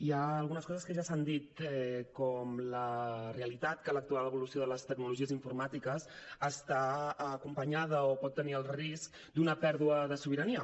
hi ha algunes coses que ja s’han dit com la realitat que actual evolució de les tecnologies informàtiques està acompanyada o pot tenir el risc d’una pèrdua de sobirania